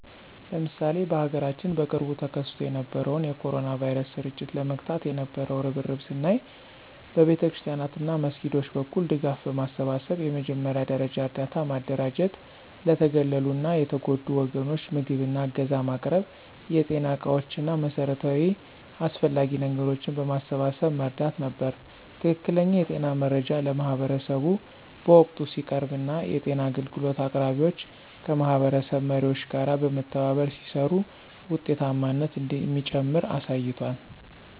ለምሳሌ በሀገራችን በቅርቡ ተከስቶ የነበረውን የ ኮሮና ቫይረስ ስርጭት ለመግታት የነበው እርብርብን ስናይ በቤተክርስቲያናት እና መስጊዶች በኩል ድጋፍ በማሰባሰብ የመጀመሪያ ደረጃ እርዳታ ማደራጀት ለተገለሉ እና የተጎዱ ወገኖች ምግብ እና ዕገዛ ማቅረብ የጤና ዕቃዎች እና መሠረታዊ አስፈላጊ ነገሮችን በማሰባሰብ መርዳት ነበር። ትክክለኛ የጤና መረጃ ለማህበረሰቡ በወቅቱ ሲቀርብ እና የጤና አገልግሎት አቅራቢዎች ከማህበረሰብ መሪዎች ጋር በመተባበር ሲሰሩ ውጤታማነት እንደሚጨምር አሳይቷል።